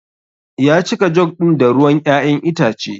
Ya cika jug ɗin da ruwan ƴaƴan itace.